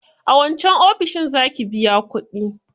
A wancan ofishin za ki biya kuɗi.